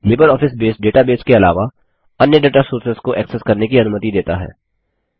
LibreOffice Base databases के अलावा अन्य दाता सोर्सेस डेटा सोर्सेस को एक्सेस करने की अनुमति देता है